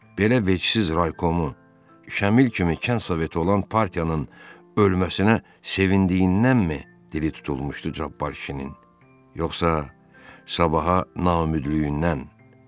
Belə vecisiz raykomu Şamil kimi kənd soveti olan partiyanın ölməsinə sevindiyindənmi dili tutulmuşdu Cabbar kişinin, yoxsa sabaha naümidliyindən?